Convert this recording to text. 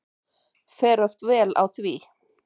Fer oft vel á því.